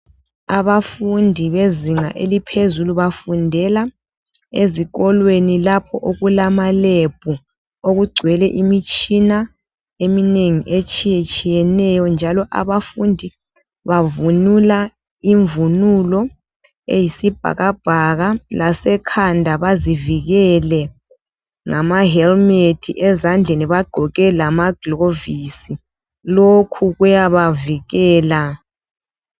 Abafundi bezinga eliphezulu bafundela ezikolweni lapho okulamalebhu okugcwele imitshina eminengi etshiyetshiyeneyo ,njalo abafundi bavunula imvunulo eyisibhakabhaka lasekhanda bazivikelele ngama helumethi .Ezandleni bagqoke lama glovisi. Lokhu kuyabavikela.